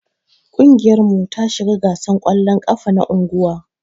Kungiyar mu ta shiga gasan kwallon ƙafa na unguwan.